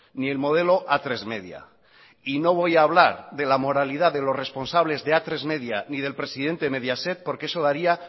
ni el modelo atresmedia y no voy a hablar de la moralidad de los responsables de atresmedia y del presidente de mediaset porque eso daría